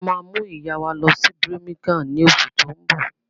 A máa mú ìyá wa lọ sí Birmingham lóṣù tó ń bọ̀.